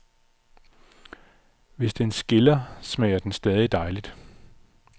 Hvis den skiller, smager den stadig dejligt.